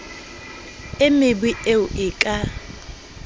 e mebe eo e ka